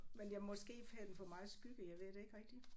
Men jeg måske havde den for meget skygge jeg ved det ikke rigtig